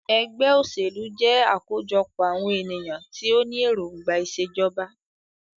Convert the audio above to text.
Ẹgbẹ́ òṣèlú jẹ́ àkójọpọ̀ àwọn ènìyàn tí o ní èròngbà ìṣèjọba.